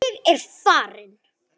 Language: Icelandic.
Ég er farinn